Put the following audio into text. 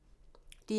DR1